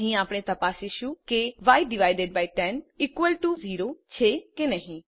અહીં આપણે તપાસીશું કે y100 છે કે નહી